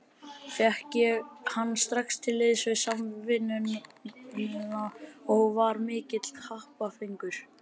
Fékk ég hann strax til liðs við Samvinnuna og var mikill happafengur.